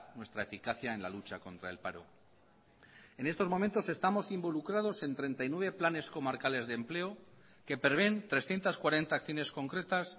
nuestra eficacia en la lucha contra el paro en estos momentos estamos involucrados en treinta y nueve planes comarcales de empleo que prevén trescientos cuarenta acciones concretas